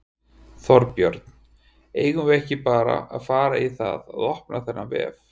Þorbjörn: Eigum við ekki bara að fara í það að opna þennan vef?